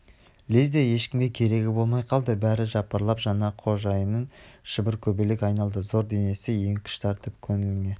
лезде ешкімге керегі болмай қалды бәрі жапырлап жаңа қожайынды шыркөбелек айналды зор денесі еңкіш тартып көңіліне